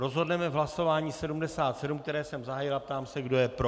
Rozhodneme v hlasování 77, které jsem zahájil, a ptám se, kdo je pro.